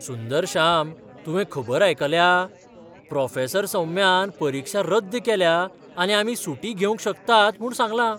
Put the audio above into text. सुंदरश्याम, तुवें खबर आयकल्या? प्रॉफेसर सौम्यान परिक्षा रद्द केल्या आनी आमी सुटी घेवंक शकतात म्हूण सांगलां!